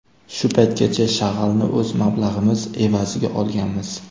Shu paytgacha shag‘alni o‘z mablag‘imiz evaziga olganmiz.